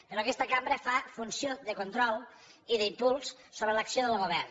però aquesta cambra fa funció de control i d’impuls sobre l’acció del govern